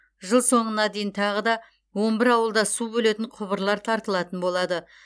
жыл соңына дейін тағы да он бір ауылда су бөлетін құбырлар тартылатын болады